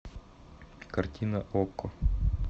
картина окко